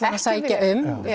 sækja um